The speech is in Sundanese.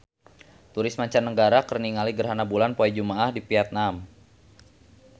Turis mancanagara keur ningali gerhana bulan poe Jumaah di Vietman